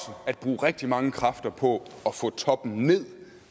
at bruge rigtig mange kræfter på at få toppen ned